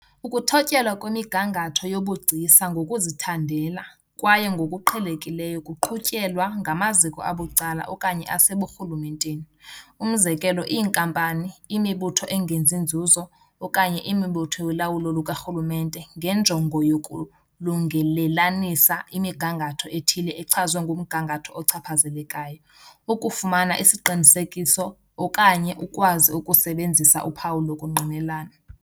Ukuthotyelwa kwemigangatho yobugcisa ngokuzithandela , kwaye ngokuqhelekileyo kuqhutyelwa ngamaziko abucala okanye aseburhulumenteni, umzekelo iinkampani, imibutho "engenzi nzuzo" okanye imibutho yolawulo lukarhulumente, ngenjongo yokulungelelanisa "imigangatho" ethile echazwe ngumgangatho ochaphazelekayo, ukufumana isiqinisekiso okanye ukwazi ukusebenzisa uphawu lokungqinelana.